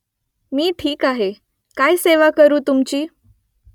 मी ठीक आहे . काय सेवा करू तुमची ?